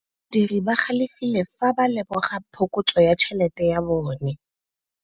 Badiri ba galefile fa ba lemoga phokotsô ya tšhelête ya bone.